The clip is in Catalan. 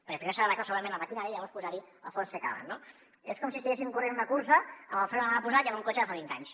perquè primer s’ha d’arreglar segurament la maquinària i llavors posar hi els fons que calen no és com si estiguéssim corrent una cursa amb el fre de mà posat i amb un cotxe de fa vint anys